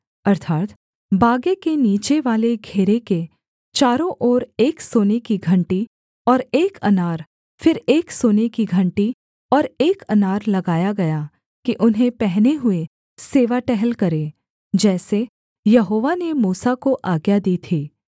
अर्थात् बागे के नीचेवाले घेरे के चारों ओर एक सोने की घंटी और एक अनार फिर एक सोने की घंटी और एक अनार लगाया गया कि उन्हें पहने हुए सेवा टहल करें जैसे यहोवा ने मूसा को आज्ञा दी थी